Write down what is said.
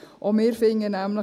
Auch wir finden nämlich: